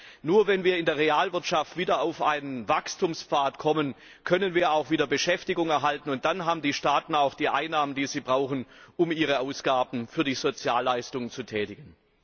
Das heißt, nur wenn wir in der Realwirtschaft wieder auf einen Wachstumspfad kommen, können wir auch wieder Beschäftigung erhalten, und dann haben die Staaten auch die Einnahmen, die sie brauchen, um ihre Ausgaben für Sozialleistungen zu tätigen!